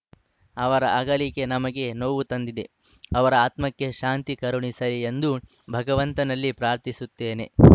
ಅವರ ಅಗಲಿಕೆ ನಮಗೆ ನೋವು ತಂದಿದೆ ಅವರ ಆತ್ಮಕ್ಕೆ ಶಾಂತಿ ಕರುಣಿಸಲಿ ಎಂದು ಭಗವಂತನಲ್ಲಿ ಪ್ರಾರ್ಥಿಸುತ್ತೇನೆ